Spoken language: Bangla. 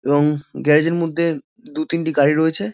এবং গ্যারাজের -এর মধ্যে দু তিনটি গাড়ি রয়েছে।